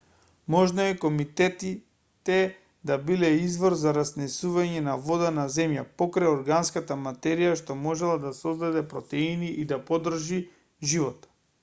можно е кометите да биле извор за разнесување на вода на земјата покрај органската материја што можела да создаде протеини и да поддржи живот